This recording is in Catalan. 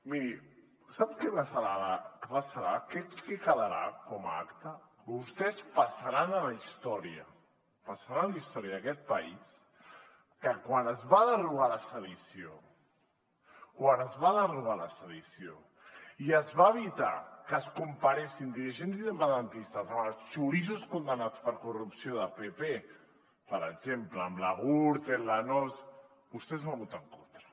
miri sap què passarà què quedarà com a acta que vostès passaran a la història passaran a la història d’aquest país que quan es va derogar la sedició quan es va derogar la sedició i es va evitar que es comparessin dirigents independentistes amb els xoriços condemnats per corrupció del pp per exemple amb la gürtel la nóos vostès hi van votar en contra